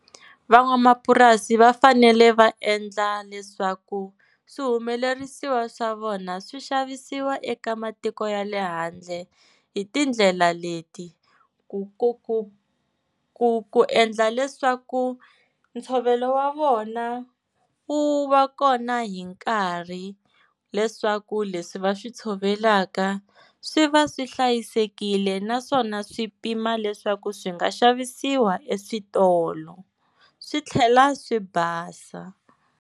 Van'wamapurasi va fanele va endla leswaku swihumelerisiwa swa vona swi xavisiwa eka matiko ya le handle hi tindlela leti, ku ku ku ku ku endla leswaku ntshovelo wa vona wu va kona hi nkarhi leswaku leswi va swi tshovelaka swi va swi hlayisekile naswona swi pima leswaku swi nga xavisiwa eswitolo swi tlhela swi basa.